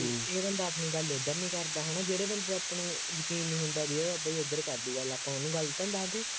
ਦਾ ਦਸਵੀਂ ਦਾ ਨਹੀਂ ਹੈਗਾ, ਪਤਾ ਹੁੰਦਾ ਨਾ ਜਿਹੜੇ ਬੰਦੇ ਦਾ ਆਪਾਂ ਨੂੰ ਯਕੀਨ ਨਹੀਂ ਹੁੰਦਾ ਬਈ ਉਹ ਆਪਣੇ ਉੱਧਰ ਕਰ ਦੇਊਗਾ, ਆਪਾਂ ਉਹਨੂੰ ਗੱਲ ਤਾਂ ਨਹੀਂ ਦੱਸਦੇ